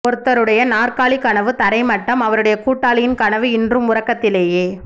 ஒருத்தருடைய நாற்காலி கனவு தரை மட்டம் அவருடைய கூட்டாளியின் கனவு இன்றும் உறக்கத்திலேயே